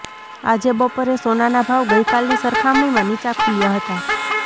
આજે બપોરે સોનાના ભાવ ગઇકાલની સરખામણીમાં નીચા ખુલ્યા હતા